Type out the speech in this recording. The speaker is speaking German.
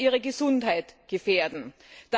ihre Gesundheit gefährden dürfen.